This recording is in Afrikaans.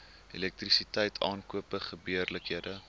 elektrisiteit aankope gebeurlikhede